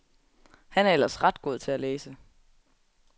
Han er ellers ret god til at læse.